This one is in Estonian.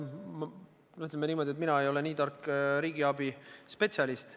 Ütleme niimoodi, et mina ei ole tark riigiabispetsialist.